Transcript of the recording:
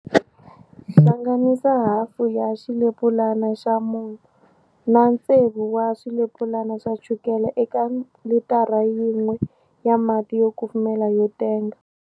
Hlanganisa half ya xilepulana xa munu na 6 wa swilepulana swa chukela eka litara yin'we ya mati yo kufumela yo tenga.